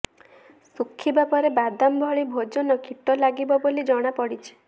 ଶୁଖିବା ପରେ ବାଦାମ ଭଳି ଭୋଜନ କୀଟ ଲାଗିବ ବୋଲି ଜଣାପଡ଼ିଛି